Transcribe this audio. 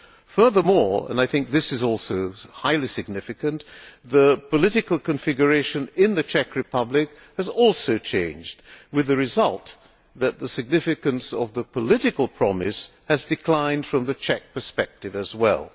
terms. Furthermore and I think this is also highly significant the political configuration in the Czech Republic has also changed, with the result that the significance of the political promise has declined from the Czech perspective